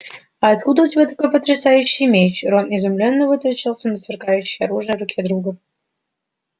а откуда у тебя такой потрясающий меч рон изумлённо вытаращился на сверкающее оружие в руке друга